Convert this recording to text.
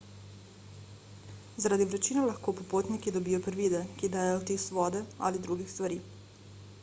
zaradi vročine lahko popotniki dobijo privide ki dajejo vtis vode ali drugih stvari